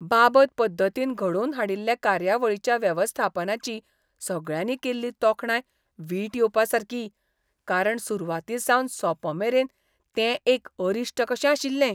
बाबत पद्दतीन घडोवन हाडिल्ले कार्यावळीच्या वेवस्थापनाची सगळ्यांनी केल्ली तोखणाय वीट येवपासारकी, कारण सुरवातीसावन सोंपमेरेन तें एक अरिश्ट कशें आशिल्लें.